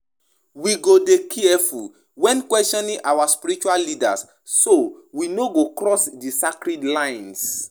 You fit talk about um about um di importance um of approaching di um conversation with respect and humility.